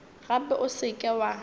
gape o se ke wa